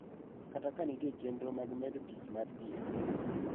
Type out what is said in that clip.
Kata ka nitie chenro mag medo tich mar thieth.